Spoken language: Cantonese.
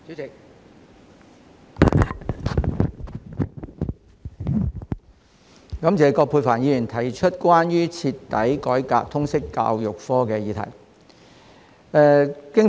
主席，感謝葛珮帆議員提出"徹底改革通識教育科"議案。